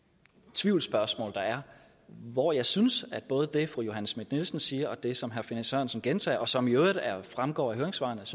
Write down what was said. tvivlsspørgsmål der er hvor jeg synes at både det fru johanne schmidt nielsen siger og det som herre finn sørensen gentager og som i øvrigt fremgår af høringssvarene